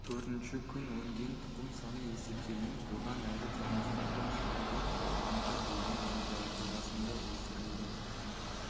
төртінші күні өнген тұқым саны есептелініп одан әрі термостаттан шығарылып зертханада бөлме температурасында өсірілді